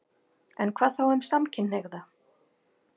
En hvað þá um samkynhneigða?